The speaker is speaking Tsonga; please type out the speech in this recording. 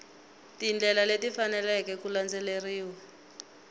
tindlela leti faneleke ku landzeriwa